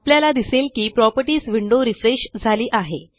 आपल्याला दिसेल की प्रॉपर्टीज विंडो रिफ्रेश झाली आहे